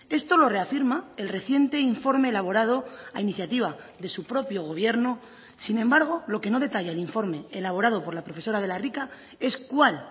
esto lo reafirma el reciente informe elaborado a iniciativa de su propio gobierno sin embargo lo que no detalla el informe elaborado por la profesora de la rica es cuál